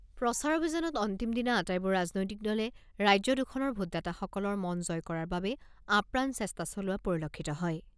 প্ৰচাৰ অভিযানৰ অন্তিম দিনা আটাইবোৰ ৰাজনৈতিক দলে ৰাজ্যদুখনৰ ভোটদাতাসকলৰ মন জয় কৰাৰ বাবে আপ্ৰাণ চেষ্টা চলোৱা পৰিলক্ষিত হয়।